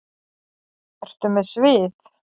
Ertu með svið?